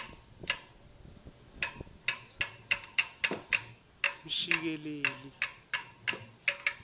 mshikeleli